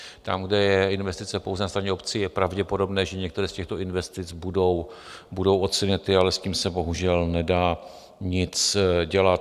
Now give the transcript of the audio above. Tam, kde je investice pouze na straně obcí, je pravděpodobné, že některé z těchto investic budou odsunuty, ale s tím se bohužel nedá nic dělat.